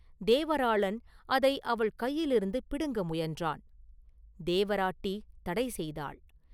தேவராளன் அதை அவள் கையிலிருந்து பிடுங்க முயன்றான்; தேவராட்டி தடை செய்தாள்.